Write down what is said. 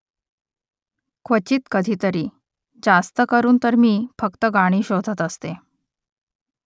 क्वचित कधीतरी . जास्तकरून तर मी फक्त गाणी शोधत असते